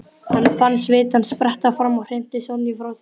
Hann fann svitann spretta fram og hrinti Sonju frá sér.